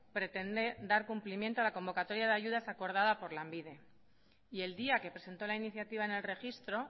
pretende dar cumplimiento a la convocatoria de ayudas acordada por lanbide y el día que presentó la iniciativa en el registro